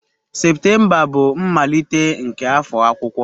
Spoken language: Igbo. Septemba bụ mmalite nke afọ akwụkwọ.